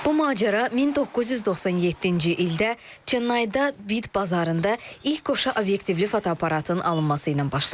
Bu macəra 1997-ci ildə Çennayda Bit bazarında ilk qoşa obyektivli fotoaparatın alınması ilə başladı.